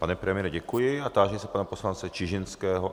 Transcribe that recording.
Pane premiére, děkuji a táži se pana poslance Čižinského.